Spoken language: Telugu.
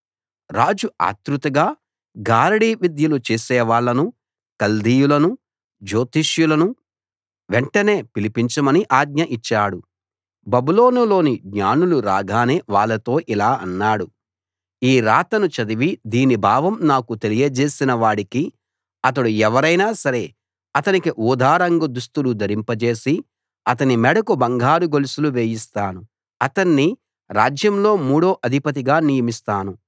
రాజు ఆత్రుతగా గారడీ విద్యలు చేసేవాళ్ళను కల్దీయులను జ్యోతిష్యులను వెంటనే పిలిపించమని ఆజ్ఞ ఇచ్చాడు బబులోనులోని జ్ఞానులు రాగానే వాళ్ళతో ఇలా అన్నాడు ఈ రాతను చదివి దీని భావం నాకు తెలియజేసిన వాడికి అతడు ఎవరైనా సరే అతనికి ఊదా రంగు దుస్తులు ధరింపజేసి అతని మెడకు బంగారు గొలుసులు వేయిస్తాను అతణ్ణి రాజ్యంలో మూడో అధిపతిగా నియమిస్తాను